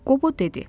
Qobo dedi.